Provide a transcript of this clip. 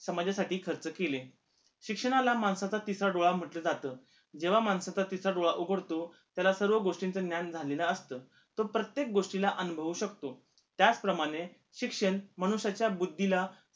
समाजासाठी खर्च केले शिक्षणाला माणसाचा तिसरा डोळा म्हटलं जात जेव्हा माणसाचा तिसरा डोळा उघडतो त्याला सर्व गोष्टींचं ज्ञान झालेलं असत तो प्रत्येक गोष्टीला अनुभवू शकतो त्याचप्रमाणे शिक्षण मनुष्याच्या बुद्धीला